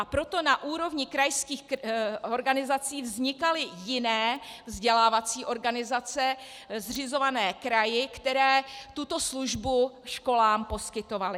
A proto na úrovni krajských organizací vznikaly jiné vzdělávací organizace, zřizované kraji, které tuto službu školám poskytovaly.